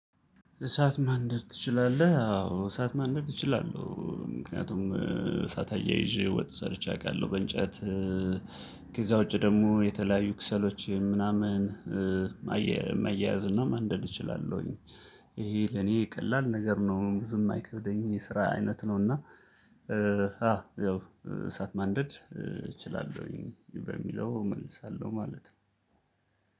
እሳት ማንደር ትችላለህ? አዎ እሳት ማንደር እችላለሁ ምክንያቱም እሳት አያይዤ ወጥ ሰርቼ አውቃለሁ በእንጨት ከዛ ውጪ ደግሞ የተለያዩ ክሰሎች ምናምን ማያያዝ እና ማንደድ እችላለሁኝ ይሄ ለኔ ቀላል ነገር ነው ብዙም የማይከብደኝ የስራ አይነት ነውና አዎ ያው እሳት ማንደድ እችላለሁኝ በሚለው እመልሳለሁ ማለት ነው